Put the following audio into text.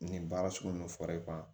Nin baara sugu min fɔra e ban